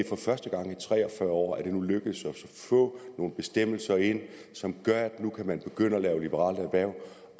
for første gang i tre og fyrre år nu lykkedes at få nogle bestemmelser ind som gør at man kan begynde at lave liberalt erhverv